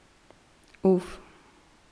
Uf!